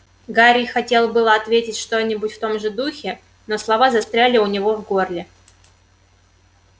гарри хотел было ответить что-нибудь в том же духе но слова застряли у него в горле